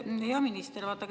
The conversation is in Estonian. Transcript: Hea minister!